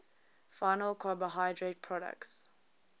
final carbohydrate products